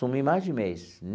Sumi mais de um mês.